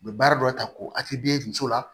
U bɛ baara dɔ ta ko ati d'e muso la